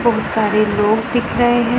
बहोत सारे लोग दिख रहे हैं।